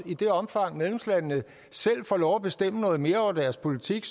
i det omfang medlemslandene selv får lov at bestemme noget mere over deres politik